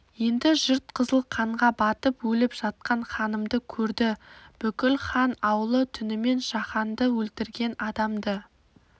енді жұрт қызыл қанға батып өліп жатқан ханымды көрді бүкіл хан аулы түнімен жағанды өлтірген адамды